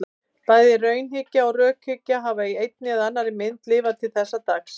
Bæði raunhyggja og rökhyggja hafa í einni eða annarri mynd lifað til þessa dags.